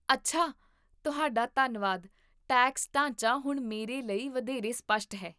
ਅੱਛਾ, ਤੁਹਾਡਾ ਧੰਨਵਾਦ, ਟੈਕਸ ਢਾਂਚਾ ਹੁਣ ਮੇਰੇ ਲਈ ਵਧੇਰੇ ਸਪੱਸ਼ਟ ਹੈ